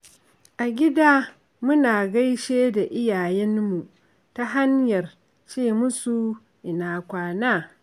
A gida muna gaishe da iyayenmu ta hanyar ce musu "Ina Kwana".